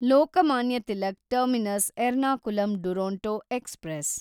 Lokmanya Tilak terminus Ernakulam Duronto express